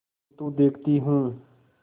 किन्तु देखती हूँ